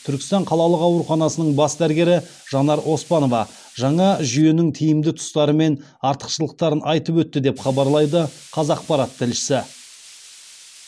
түркістан қалалық ауруханасының бас дәрігері жанар оспанова жаңа жүйенің тиімді тұстары мен артықшылықтарын айтып өтті деп хабарлайды қазақпарат тілшісі